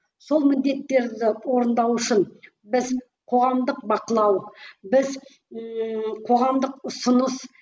сол міндеттерді орындау үшін біз қоғамдық бақылау біз ііі қоғамдық ұсыныс